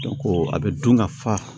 a bɛ dun ka fa